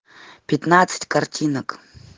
пятнадцать картинок